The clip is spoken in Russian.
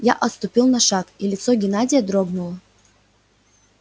я отступил на шаг и лицо геннадия дрогнуло